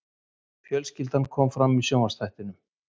Fjölskyldan kom fram í sjónvarpsþættinum